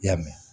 I y'a mɛn